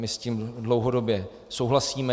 My s tím dlouhodobě souhlasíme.